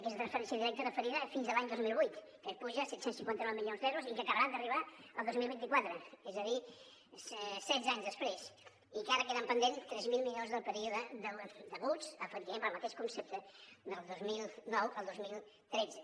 aquesta transferència indirecta referida fins a l’any dos mil vuit que puja a set cents i cinquanta nou milions d’euros i que acabarà d’arribar el dos mil vint quatre és a dir setze anys després i encara queden pendents tres mil milions del període deguts efectivament pel mateix concepte del dos mil nou al dos mil tretze